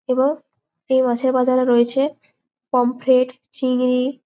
এবং এই মাছের বাজারে রয়েছে পমফ্রেট চিংড়ি--